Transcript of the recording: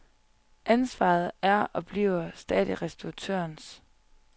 Ansvaret er og bliver stadig restauratørens.